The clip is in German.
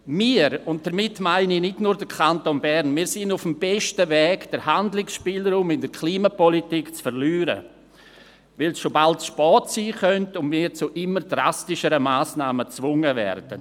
Wir – und damit meine ich nicht nur den Kanton Bern – sind auf dem besten Weg, den Handlungsspielraum in der Klimapolitik zu verlieren, weil es schon bald zu spät sein könnte und wir zu immer drastischeren Massnahmen gezwungen werden.